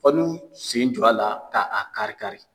Fɔ n'u sen jɔ a la k'a kari-kari.